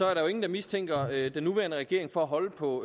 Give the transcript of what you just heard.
er der jo ingen der mistænker den nuværende regering for at holde på